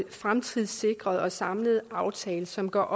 fremtidssikret og samlet aftale som gør